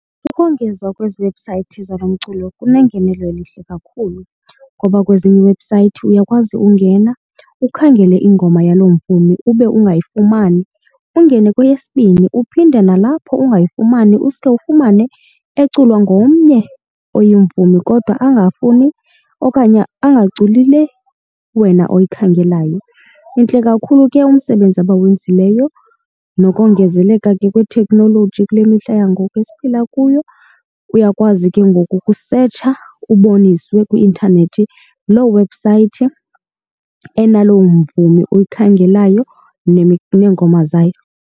Ukongezwa kwezi webhusayithi zalo mculo kunengenelo elihle kakhulu ngoba kwezinye iiwebhusayithi uyakwazi ungena ukhangele ingoma yaloo mvumi ube ungayifumani. Ungene kweyesibini uphinde nalapho ungayifumani uske ufumane eculwa ngomnye oyimvumi, kodwa angafuni okanye angaculi le wena oyikhangelayo. Intle kakhulu ke umsebenzi abawenzileyo nokongezeleka ke kwethekhnoloji kule mihla yangoku esiphila kuyo, uyakwazi ke ngoku ukusetsha uboniswe kwi-intanethi loo webhusayithi enalo mvumi oyikhangelayo neengoma zayo.